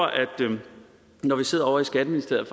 når vi sidder ovre i skatteministeriet